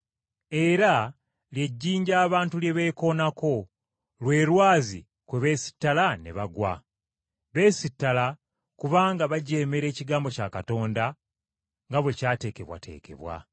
Era “Lye jjinja abantu lye beekoonako, lwe lwazi kwe beesittala ne bagwa.” Beesittala kubanga bajeemera ekigambo kya Katonda, nga bwe ky’ateekebwateekebwa.